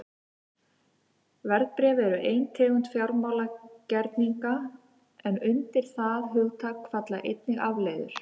Verðbréf eru ein tegund fjármálagerninga en undir það hugtak falla einnig afleiður.